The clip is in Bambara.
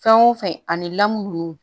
Fɛn o fɛn ani lamu nunnu